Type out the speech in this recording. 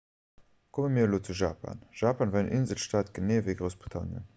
komme mir elo zu japan japan war en inselstaat genee ewéi groussbritannien